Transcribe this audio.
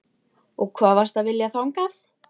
Og hvað varstu að vilja þangað?